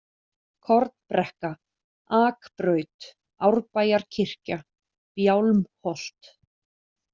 Kornbrekka, Akbraut, Árbæjarkirkja, Bjálmholt